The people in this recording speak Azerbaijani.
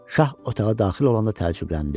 Şah otağa daxil olanda təəccübləndi.